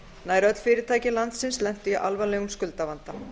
nær öll fyrirtæki landsins lentu í alvarlegum skuldavanda